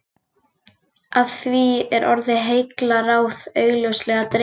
Af því er orðið heillaráð augljóslega dregið.